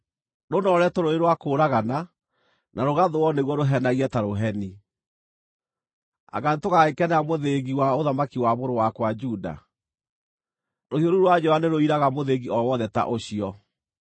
rũnooretwo rũrĩ rwa kũũragana, na rũgathũũo nĩguo rũhenagie ta rũheni! “ ‘Anga nĩtũgagĩkenera mũthĩgi wa ũthamaki wa mũrũ wakwa Juda? Rũhiũ rũu rwa njora nĩrũiraga mũthĩgi o wothe ta ũcio.